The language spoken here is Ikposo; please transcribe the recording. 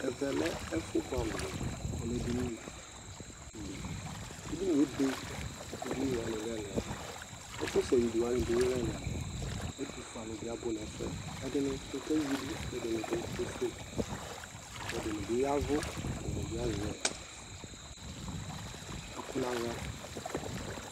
ɛvɛ lɛ ɛƒʋ bʋamʋ di kʋ ɔlɛ ɛdini li, ɛdiniɛ ɛbɛbkʋ ɛdini wani lɛ ɛlʋɛlʋ, ɛƒʋ sɛ wi wani bi lɛ ɛlʋɛlʋ, ɛtʋƒʋɛ alʋ bi abʋ nʋ ɛƒʋɛ, ɛdini kɛwidʋ kʋ ɛdini kɛƒʋɛ kʋ ɛdinidi yavʋ kʋ ɛdini bi azɛ ɛkʋ nʋ ala